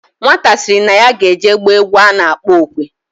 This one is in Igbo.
Nwata siri na ya ga eje gba egwu ano akpo okwe.